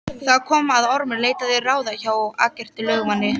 Þar kom að Ormur leitaði ráða hjá Eggerti lögmanni